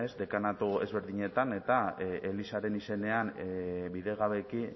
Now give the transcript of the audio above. dekanatu ezberdinetan eta elizaren izenean bidegabeki